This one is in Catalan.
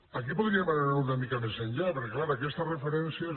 aquí podríem anar una mica més enllà perquè és clar aquestes referències no